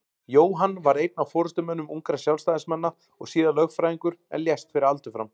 Jóhann varð einn af forystumönnum ungra Sjálfstæðismanna og síðar lögfræðingur en lést fyrir aldur fram.